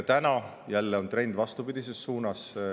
Täna on jälle trend vastupidises suunas.